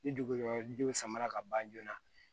Ni dugudenw samara ka ban joona